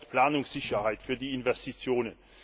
Stichwort Planungssicherheit für die Investitionen.